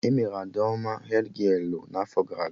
Emere Adaome hedgialụ n'afọ gara aga